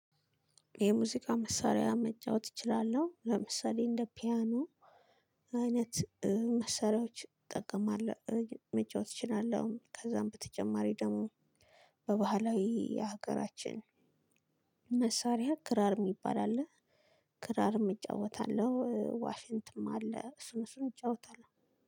የሙዚቃ መሳሪያ መጫወት እችላለሁ ለምሳሌ እንደ ፒያኖ አይነት መሳሪያዎች እጠቀማለሁ መጫወት እችላለሁ። ከዛም በተጨማሪ ደግሞ በባህላዊ ሀገራችን መሳሪያ ክራር የሚባል አለ ክራርም እጫወታለሁ። ዋሽንትም አለ እሱን እሱን እጫወታለሁ።